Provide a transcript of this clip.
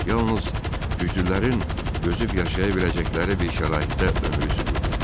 Yalnız güclülərin dözüb yaşaya biləcəkləri bir şəraitdə ömrü sürürdü.